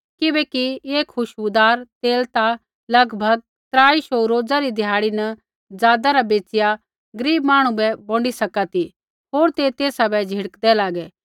किबैकि ऐ खुशबूदार तेल ता लगभग त्राई शौऊ रोज़ा री ध्याड़ी न ज़ादा रा बैचिया गरीब मांहणु बै बोंडी सका ती होर ते तेसा बै झ़िड़कदे लागे